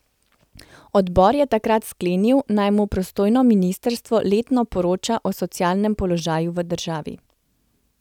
Odbor je takrat sklenil, naj mu pristojno ministrstvo letno poroča o socialnem položaju v državi.